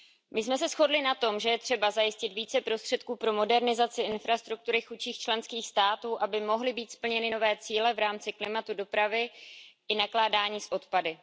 My jsme se shodli na tom, že je třeba zajistit více prostředků pro modernizaci infrastruktury chudších členských států, aby mohly být splněny nové cíle v rámci klimatu, dopravy i nakládání s odpady.